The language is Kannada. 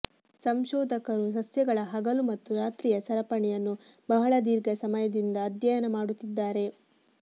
ಸಂಶೋಧಕರು ಸಸ್ಯಗಳ ಹಗಲು ಮತ್ತು ರಾತ್ರಿಯ ಸರಪಣಿಯನ್ನು ಬಹಳ ಧೀರ್ಘ ಸಮಯದಿಂದ ಅಧ್ಯಯನ ಮಾಡುತ್ತಿದ್ದಾರೆ